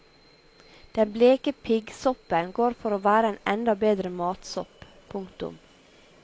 Den bleke piggsoppen går for å være en enda bedre matsopp. punktum